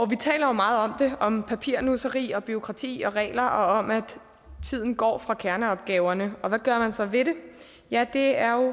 vi taler jo meget om papirnusseri og bureaukrati og regler og om at tiden går fra kerneopgaverne og hvad gør man så ved det ja det er